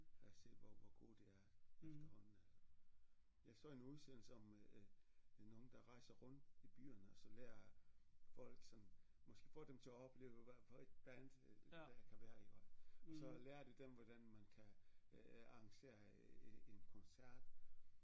At se hvor hvor gode de er efterhånden at jeg så en udsendelse om øh øh nogle der rejser rundt i byerne og så lærer folk sådan måske få dem til opleve hvad får et band der kan være iggå og så lærer de dem hvordan man kan øh arrangere en en koncert